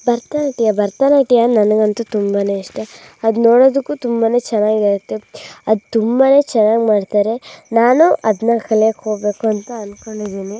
ಭರತನಾಟ್ಯ ಭರತನಾಟ್ಯ ನಾನಾಗನಂತೂ ತುಂಬಾ ಇಷ್ಟ ಅದು ನೋಡದಕ್ಕೂ ತುಂಬಾನೇ. ಚೆನಾಗಿರುತ್ತೆ .ಅದ್ನ್ನ ತುಂಬಾ ಚೆನ್ನಾಗಿ ಮಾಡ್ತಾರೆ ನಾನು ಅದನ್ನ ಕಲಿಯೋಕೆ ಹೋಗ್ಬೇಕು ಅಂತ ಅನ್ನೋಕೊಂಡಿದೀನಿ .